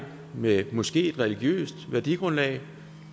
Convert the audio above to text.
med måske et religiøst værdigrundlag